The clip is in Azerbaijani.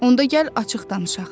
Onda gəl açıq danışaq.